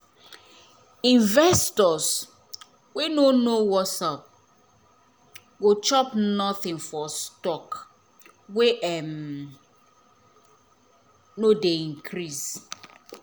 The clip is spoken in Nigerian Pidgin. investors wey nor know wassup go chop nothing for stock wey um nor um dey increase